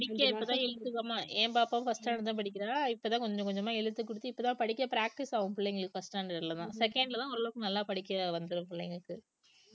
படிக்க இப்பதான் என் பாப்பாவும் first standard தான் படிக்கிறா இப்பதான் கொஞ்சம் கொஞ்சமா எழுத்து கூட்டி இப்ப தான் படிக்க practice ஆகும் பிள்ளைங்களுக்கு first standard லதான் second லதான் ஓரளவுக்கு நல்லா படிக்க வந்துரும் பிள்ளைங்களுக்கு